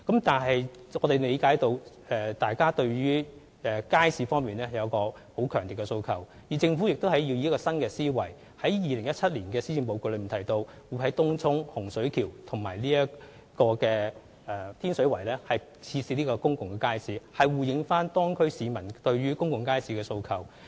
但是，我們理解市民對街市有強烈訴求，政府亦以新思維，在2017年施政報告中提到，會在東涌、洪水橋和天水圍設置公共街市，以回應當區市民對公共街市的訴求。